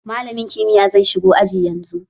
Malamin kimiyya zai shigo aji yanzu